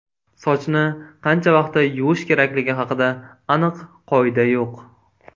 Sochni qancha vaqtda yuvish kerakligi haqida aniq qoida yo‘q.